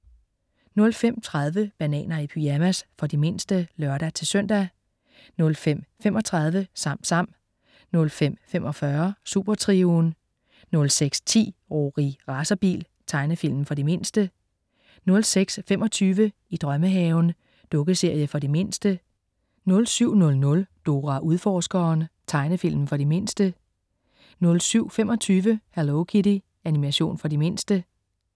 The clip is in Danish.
05.30 Bananer i pyjamas. For de mindste (lør-søn) 05.35 SamSam 05.45 Supertrioen 06.10 Rorri Racerbil. Tegnefilm for de mindste 06.25 I drømmehaven. Dukkeserie for de mindste 07.00 Dora Udforskeren. Tegnefilm for de mindste 07.25 Hello Kitty. Animation for de mindste